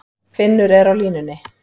Finnur er á línunni.